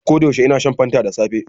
A koda yaushe ina shan fanta da safe